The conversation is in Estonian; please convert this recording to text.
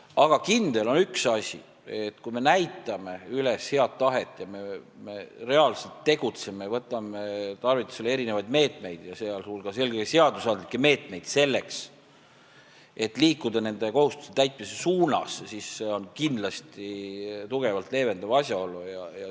Aga kindel on üks asi: kui me näitame üles head tahet ja reaalselt tegutseme, võtame meetmeid, sh eelkõige seadusandlikke meetmeid, selleks et liikuda nende kohustuste täitmise suunas, siis see on kindlasti tugevalt leevendav asjaolu.